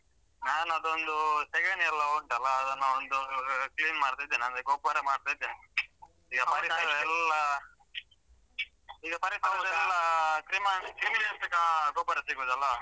ನಾನ್ ಅದೊಂದು ಸೆಗಣಿ ಎಲ್ಲ ಉಂಟಲ ಅದನ್ನು ಒಂದೂ clean ಮಾಡ್ತಾ ಇದ್ದೇನೆ ಅಂದ್ರೆ ಗೊಬ್ಬರ ಮಾಡ್ತಾ ಇದ್ದೇನೆ ಈಗ ಪರಿಸರ ಎಲ್ಲ ಕ್ರಿಮಿನಾಶಕ ಗೊಬ್ಬರ ಸಿಗುದು ಅಲ.